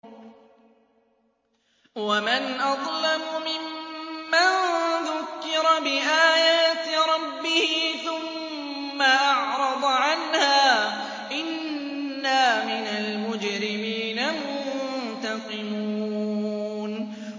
وَمَنْ أَظْلَمُ مِمَّن ذُكِّرَ بِآيَاتِ رَبِّهِ ثُمَّ أَعْرَضَ عَنْهَا ۚ إِنَّا مِنَ الْمُجْرِمِينَ مُنتَقِمُونَ